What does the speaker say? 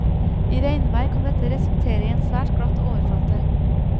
I regnvær kan dette resultere i en svært glatt overflate.